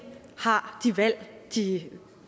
har de valg de